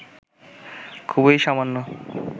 খুবই সামান্য